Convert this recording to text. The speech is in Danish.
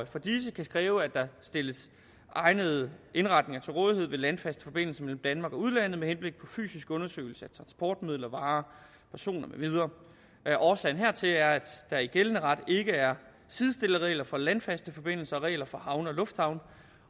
for disse kan kræve at der stilles egnede indretninger til rådighed ved landfaste forbindelser mellem danmark og udlandet med henblik på fysisk undersøgelse af transportmidler varer personer med videre årsagen hertil er at der i gældende ret ikke er sidestillede regler for landfaste forbindelser og regler for havne og lufthavne